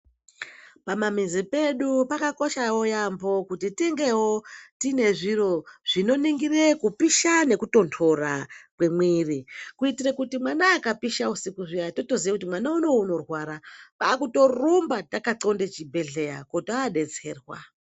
Pamamizi pedu pakakoshawo yaamho kuti tingewo tine zviro zvinoningira kupisha nekutonhora kwemwiri kuitire kuti mwana akapisha usiku zviya totoziye kuti mwana uno unorwara kwaakutorumba takanxlonde chibhehleya kuti odetserwa.